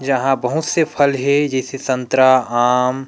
यहाँ बहुत से फल हे जईसा संतरा आम--